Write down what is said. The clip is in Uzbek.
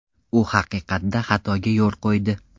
U haqiqatda xatoga yo‘l qo‘ydi.